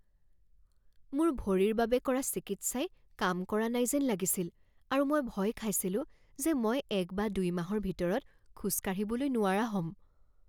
মোৰ ভৰিৰ বাবে কৰা চিকিৎসাই কাম কৰা নাই যেন লাগিছিল আৰু মই ভয় খাইছিলো যে মই এক বা দুই মাহৰ ভিতৰত খোজ কাঢ়িবলৈ নোৱাৰা হ'ম।